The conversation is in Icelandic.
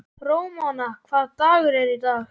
Ramóna, hvaða dagur er í dag?